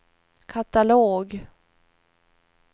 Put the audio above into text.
katalog